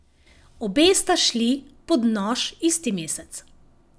Obe sta šli pod nož isti mesec.